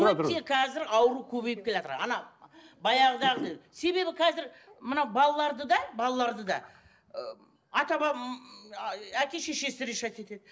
өте қазір ауру көбейіп келатыр баяғыдағы себебі қазір мына балаларды да балаларды да ы әке шешесі решать етеді